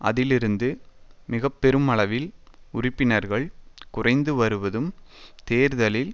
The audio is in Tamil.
அதிலிருந்து மிக பெருமளவில் உறுப்பினர்கள் குறைந்து வருவதும் தேர்தலில்